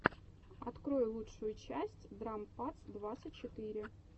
открой лучшую часть драм падс двадцать четыре